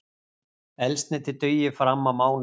Eldsneytið dugi fram á mánudag